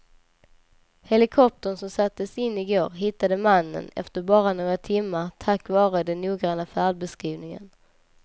Helikoptern som sattes in i går hittade mannen efter bara några timmar tack vare den noggranna färdbeskrivningen.